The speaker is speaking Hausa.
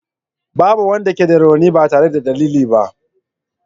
Babu wanda ke da rauni ba tare da dalili ba.